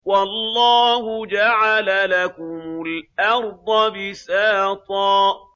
وَاللَّهُ جَعَلَ لَكُمُ الْأَرْضَ بِسَاطًا